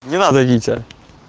не надо витя